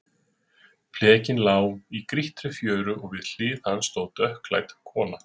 Flekinn lá í grýttri fjöru og við hlið hans stóð dökkklædd kona.